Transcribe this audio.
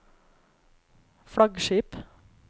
flaggskip